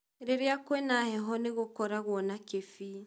Rĩrĩa kwĩ na heho nĩgũkoragwo na kĩbii